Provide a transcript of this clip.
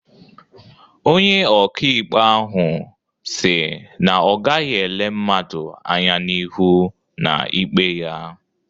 Onye ọka ikpe ahụ si na ọ gaghị ele mmadụ anya n'ihu na ikpe ya